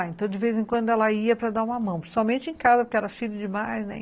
Então, de vez em quando, ela ia para dar uma mão, principalmente em casa, porque era filha demais, né?